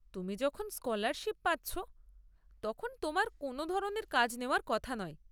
তুমি যখন স্কলারশিপ পাচ্ছ, তখন তোমার কোনও ধরনের কাজ নেওয়ার কথা নয়।